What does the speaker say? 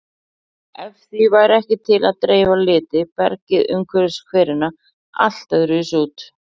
Ef því væri ekki til að dreifa liti bergið umhverfis hverina allt öðruvísi út.